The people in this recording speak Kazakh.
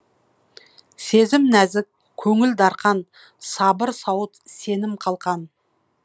сезім нәзік көңіл дархан сабыр сауыт сенім қалқан